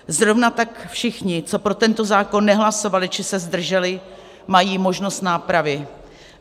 Zrovna tak všichni, co pro tento zákon nehlasovali či se zdrželi, mají možnost nápravy.